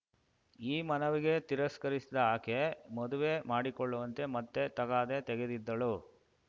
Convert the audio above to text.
ಈ ಮನವಿಗೆ ತಿರಸ್ಕರಿಸಿದ ಆಕೆ ಮದುವೆ ಮಾಡಿಕೊಳ್ಳುವಂತೆ ಮತ್ತೆ ತಗಾದೆ ತೆಗೆದಿದ್ದಳು